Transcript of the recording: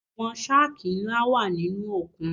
Àwọn shákì ńlá wà nínú òkun.